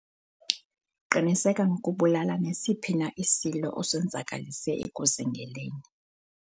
qiniseka ngokubulala nesiphi na isilo osenzakalise ekuzingeleni